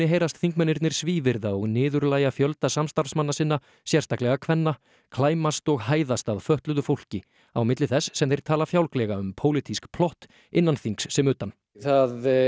heyrast þingmennirnir svívirða og niðurlægja fjölda samstarfsmanna sinna sérstaklega kvenna klæmast og hæðast að fötluðu fólki á milli þess sem þeir tala fjálglega um pólitísk plott innan þings sem utan það